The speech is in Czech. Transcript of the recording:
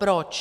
Proč?